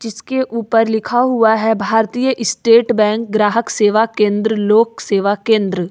उसके ऊपर लिखा हुआ है भारतीय स्टेट बैंक ग्राहक सेवा केंद्र लोक सेवा केंद्र।